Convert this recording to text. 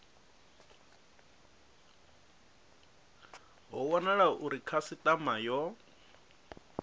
ho wanala uri khasitama yo